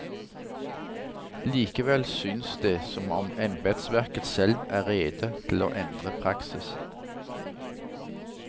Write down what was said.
Likevel synes det som om embetsverket selv er rede til å endre praksis.